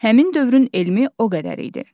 Həmin dövrün elmi o qədər idi.